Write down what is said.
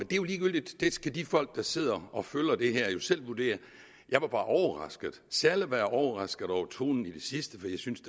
jo ligegyldigt det skal de folk der sidder og følger det her jo selv vurdere jeg var bare overrasket særlig var jeg overrasket over tonen i det sidste for jeg synes